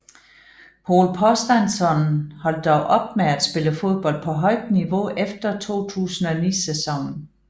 Pól Thorsteinsson holdt dog op med at spille fodbold på højt niveau efter 2009 sæsonen